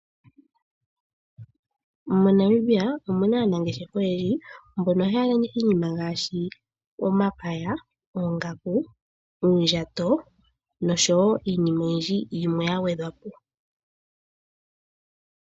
MoNamibia omuna aanangeshefa oyendji mbono haya landitha iinima ngaashi omapaya, oongaku, uundjato noshowo iinima oyindji yimwe ya gwedhwa po.